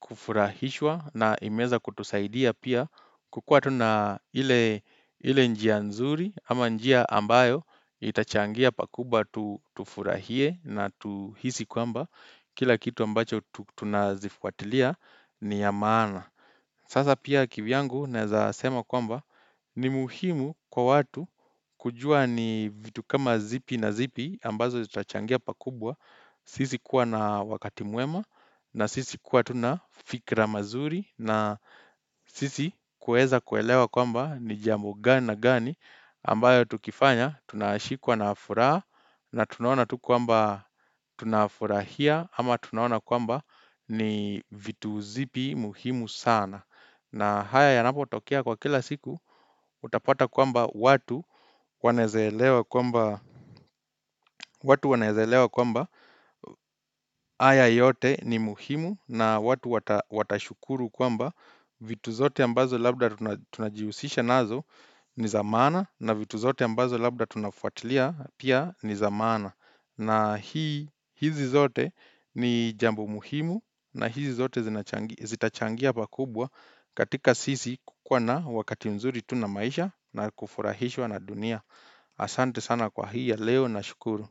kufurahishwa na imeweza kutusaidia pia kukua tu na ile ile njia nzuri ama njia ambayo itachangia pakubwa tufurahie na tuhisi kwamba kila kitu ambacho tunazifuatilia ni ya maana Sasa pia kivyangu naweza sema kwamba ni muhimu kwa watu kujua ni vitu kama zipi na zipi ambazo zitachangia pakubwa sisi kuwa na wakati mwema na sisi kuwa tu na fikra mazuri na sisi kuweza kuelewa kwamba ni jambo gani na gani ambayo tukifanya tunashikwa na furaha na tunaona tu kwaamba tunafurahia ama tunaona kwamba ni vitu zipi muhimu sana. Na haya yanapotokea kwa kila siku utapata kwamba watu wanaweza elewa kwamba haya yote ni muhimu na watu watashukuru kwamba vitu zote ambazo labda tunajihusisha nazo ni za maana na vitu zote ambazo labda tunafuatilia pia ni za maana. Na hizi zote ni jambo muhimu na hizi zote zitachangia pakubwa katika sisi kukua na wakati mzuri tu na maisha na kufurahishwa na dunia. Asante sana kwa hii ya leo nashukuru.